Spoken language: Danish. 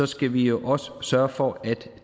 skal vi jo også sørge for at